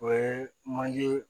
O ye manjee